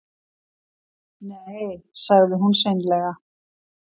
Nei, sagði hún seinlega.